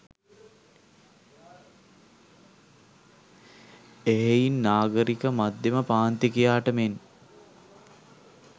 එහෙයින් නාගරික මධ්‍යම පාන්තිකයාට මෙන්